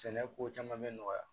Sɛnɛ ko caman bɛ nɔgɔya